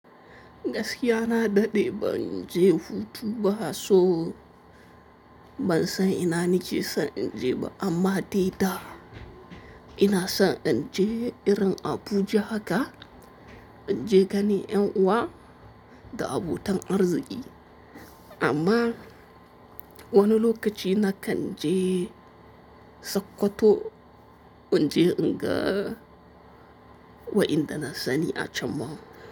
Gaskiya na daɗe ban je hutu ba so, ban san ina nike san in je ba, amma dai da ina son in je irin Abuja haka, in je gani ƴan uwa da abota arziki. Amma wani lokaci na kan je Sokoto, in je inga wadanda na sani acan ma.